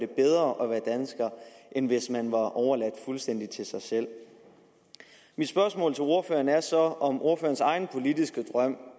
bedre end hvis man var overladt fuldstændig til sig selv mit spørgsmål til ordføreren er så om ordførerens egen politiske drøm